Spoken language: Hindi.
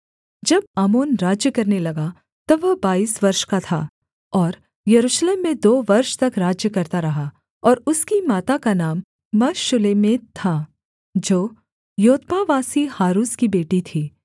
जब आमोन राज्य करने लगा तब वह बाईस वर्ष का था और यरूशलेम में दो वर्ष तक राज्य करता रहा और उसकी माता का नाम मशुल्लेमेत था जो योत्बावासी हारूस की बेटी थी